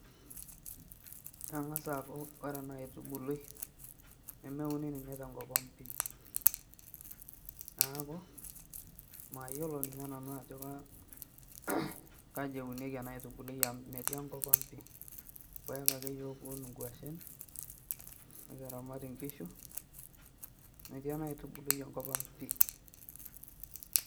Kengas aaku ore ena aitubului nemeuni ninye tenkopang pi , neak mayiolo ninye nanu ajo kaji eunieki ena aitubului amu metii enkop ang , irpaek ake yiok kiun, inkwashen, nikiramat inkishu , metii enaaitubului enkop ang pi.